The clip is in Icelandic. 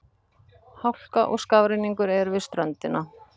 Hálka og skafrenningur er við ströndina